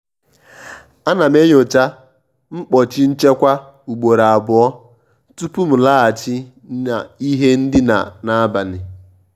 à ná m ènyòchá mkpọ́chí nchékwà ùgbòró àbụọ́ tupú m làghachì ná ìhé ndíná n’ábalì.